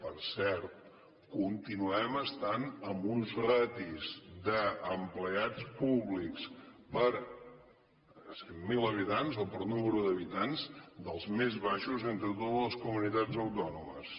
per cert continuem estant en unes ràtios d’empleats públics per cent mil habitants o per nombre d’habitants de les més baixes d’entre totes les comunitats autònomes